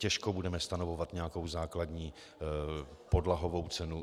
Těžko budeme stanovovat nějakou základní podlahovou cenu.